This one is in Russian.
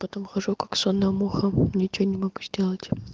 потом хожу как сонная муха ничего не могу сделать